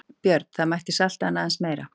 Björn: Það mætti salta hann aðeins meira?